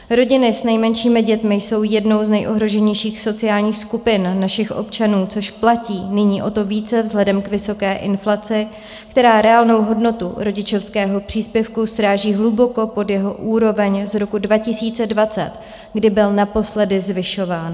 Rodiny s nejmenšími dětmi jsou jednou z nejohroženějších sociálních skupin našich občanů, což platí nyní o to více vzhledem k vysoké inflaci, která reálnou hodnotu rodičovského příspěvku sráží hluboko pod jeho úroveň z roku 2020, kdy byl naposledy zvyšován.